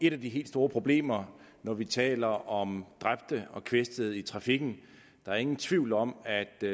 et af de helt store problemer når vi taler om dræbte og kvæstede i trafikken der er ingen tvivl om at